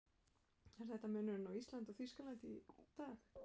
Er þetta munurinn á Íslandi og Þýskalandi í dag?